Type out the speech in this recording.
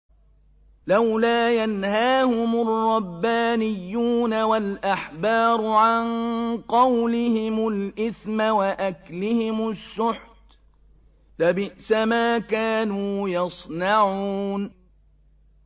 لَوْلَا يَنْهَاهُمُ الرَّبَّانِيُّونَ وَالْأَحْبَارُ عَن قَوْلِهِمُ الْإِثْمَ وَأَكْلِهِمُ السُّحْتَ ۚ لَبِئْسَ مَا كَانُوا يَصْنَعُونَ